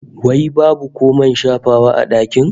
Wai babu ko man shafawa a dakin?